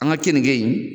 An ka keninge in